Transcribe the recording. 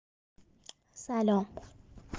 салем